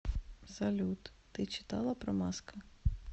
салют ты читала про маска